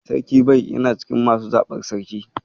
Sarkin Bai yana cikin masu zaɓar Sarki.